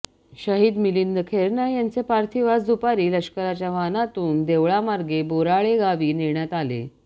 शहीद मिलिंद खैरनार यांचे पार्थिव आज दुपारी लष्कराच्या वाहनातून देवळामार्गे बोराळे गावी नेण्यात आले